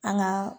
An ka